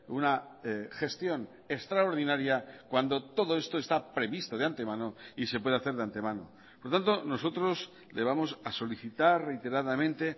una gestión extraordinaria cuando todo esto está previsto de antemano y se puede hacer de antemano por lo tanto nosotros le vamos a solicitar reiteradamente